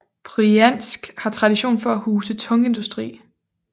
Brjansk har tradition for at huse tungindustri